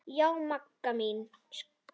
Já, Magga mín.